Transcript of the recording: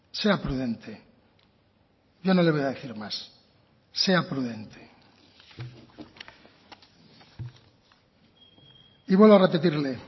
sea prudente yo no le voy a decir más sea prudente y vuelvo a repetirle